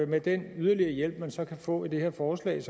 med den yderligere hjælp man så kan få i det her forslag